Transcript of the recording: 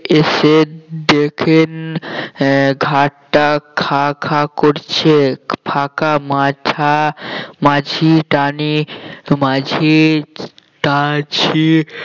এসে দেখেন আহ ঘাটটা খাঁ খাঁ করছে ফাঁকা মাঝা মাঝি টানে মাঝি টানছে